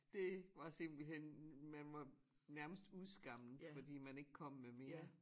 Det var simpelthen man var nærmest udskammet fordi man ikke kom med mere